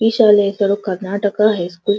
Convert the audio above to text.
ಈ ಶಾಲೆಇಂದರು Karnataka high school --